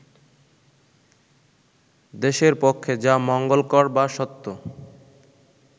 দেশের পক্ষে যা মঙ্গলকর বা সত্য